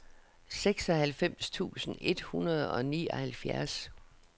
seksoghalvfems tusind et hundrede og nioghalvfjerds